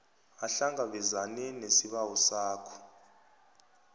ahlangabezane nesibawo sakho